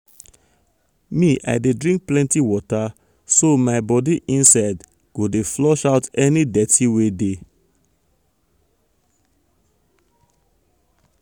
me i dey drink plenty water so my body inside go dey inside go dey flush out any dirty wey dey.